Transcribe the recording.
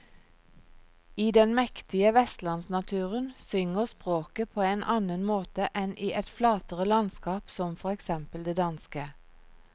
I den mektige vestlandsnaturen synger språket på en annen måte enn i et flatere landskap som for eksempel det danske.